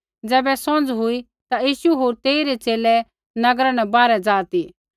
ज़ैबै सौंझ़ हुई ता यीशु होर तेइरै च़ेले नगरा न बाहरै ज़ा ती